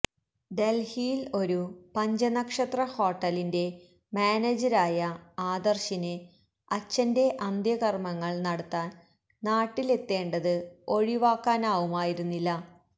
ഡൽഹിയിൽ ഒരു പഞ്ചനക്ഷത്ര ഹോട്ടലിന്റെ മാനേജരായ ആദർശിന് അച്ഛന്റെ അന്ത്യകർമങ്ങൾ നടത്താൻ നാട്ടിലെത്തേണ്ടത് ഒഴിവാക്കാനാവുമായിരുന്നില്ല